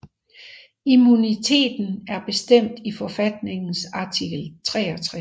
Immuniteten er bestemt i forfatningens artikel 63